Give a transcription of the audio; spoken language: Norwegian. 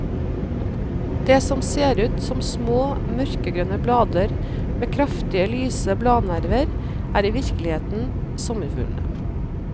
Det som ser ut som små mørkegrønne blader med kraftige lyse bladnerver er i virkeligheten sommerfuglene.